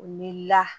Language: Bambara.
Wulila